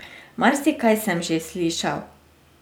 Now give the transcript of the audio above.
Marsikaj sem že slišal.